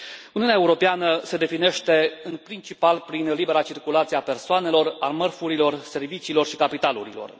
Uniunea Europeană se definește în principal prin libera circulație a persoanelor, a mărfurilor, serviciilor și capitalurilor.